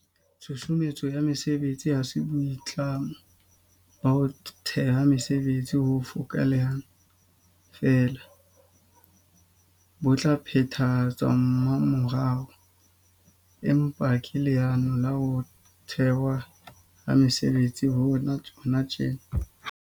Tshusumetso ya mesebetsi ha se boitlamo ba ho theha mesebetsi bo fokaelang feela bo tla phethahatswa mmamorao, empa ke leano la ho thehwa ha mesebetsi hona tjena.